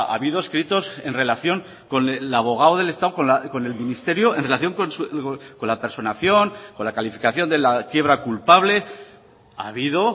habido escritos en relación con el abogado del estado con el ministerio en relación con la personación con la calificación de la quiebra culpable ha habido